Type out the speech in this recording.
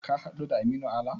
Ka haɗu da Aminu Ala?